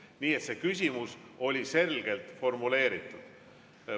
Nii et see küsimus oli selgelt formuleeritud.